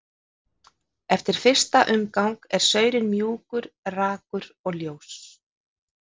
Eftir fyrsta umgang er saurinn mjúkur, rakur og ljós.